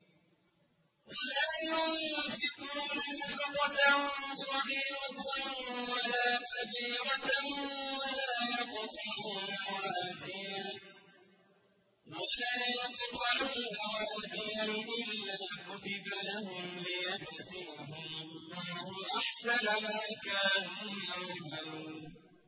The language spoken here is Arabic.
وَلَا يُنفِقُونَ نَفَقَةً صَغِيرَةً وَلَا كَبِيرَةً وَلَا يَقْطَعُونَ وَادِيًا إِلَّا كُتِبَ لَهُمْ لِيَجْزِيَهُمُ اللَّهُ أَحْسَنَ مَا كَانُوا يَعْمَلُونَ